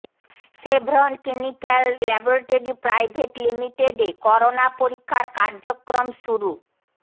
Chevron clinical laboratory private লিমিটেডে corona পরীক্ষার কার্যক্রম শুরু